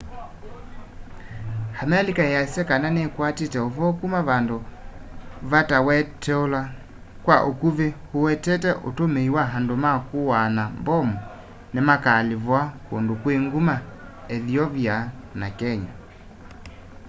amelika ĩasya kana nĩkwatie ũvoo kuma vandu vatawetetweula kwa ukuvi uwetete utumii wa andu ma kuaa na mbomu nimakaalivua kundu kwi nguma ethiopia na kenya